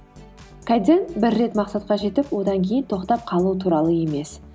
кайдзен бір рет мақсатқа жетіп одан кейін тоқтап қалу туралы емес